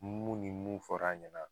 Mun ni mun fɔr'a ɲɛna